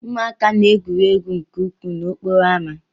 Ụmụaka na-egwuri egwu nke ukwuu n'okporo ámá.